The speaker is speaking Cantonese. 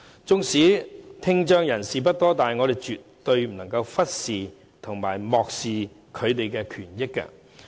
即使聽障人士數目不多，但我們絕對不能漠視他們的權益。